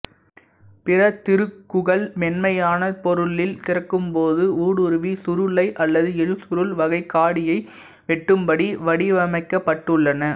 பிற திருகுகள் மென்மையான பொருளில் திருகும்போது ஊடுருவி சுருளை அல்லது எழுசுருள் வகைக் காடியை வெட்டும்படி வடிவமைக்கபட்டுள்ளன